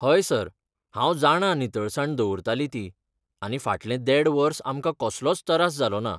हय सर, हांव जाणा नितळसाण दवरतालीं ती आनी फाटलें देड वर्स आमकां कसलोच तरास जालो ना.